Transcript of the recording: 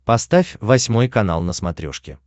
поставь восьмой канал на смотрешке